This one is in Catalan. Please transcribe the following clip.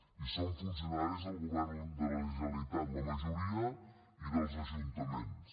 i són funcionaris del govern de la generalitat la majoria i dels ajuntaments